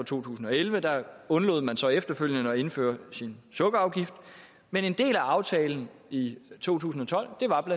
tusind og elleve og der undlod man så efterfølgende at indføre sin sukkerafgift men en del af aftalen i to tusind og tolv